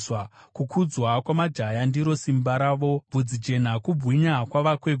Kukudzwa kwamajaya ndiro simba ravo, bvudzi jena kubwinya kwavakwegura.